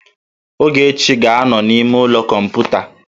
Ogechi ga-anọ n'ime ụlọ kọmputa